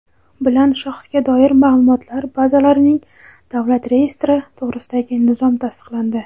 bilan Shaxsga doir maʼlumotlar bazalarining davlat reyestri to‘g‘risidagi nizom tasdiqlandi.